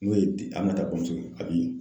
N'o ye Aminata bamuso ye Abi